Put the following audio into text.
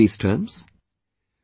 have you ever heard these terms